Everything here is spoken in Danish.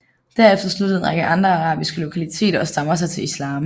Derefter sluttede en række andre arabiske lokaliteter og stammer sig til islam